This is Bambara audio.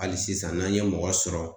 Hali sisan n'an ye mɔgɔ sɔrɔ